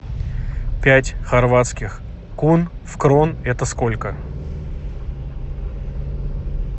пять хорватских кун в крон это сколько